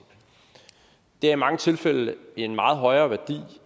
det er i mange tilfælde en meget højere værdi